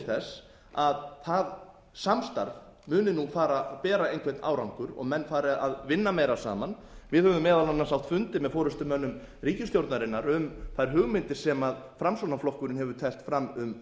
þess að það samstarf muni fara að bera einhvern árangur og menn fari að vinna meira saman við höfum meðal annars átt fundi með forustumönnum ríkisstjórnarinnar um þær hugmyndir sem framsóknarflokkurinn hefur teflt fram um